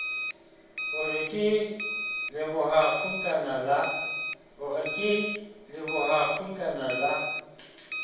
o re ke lebohakgutlana la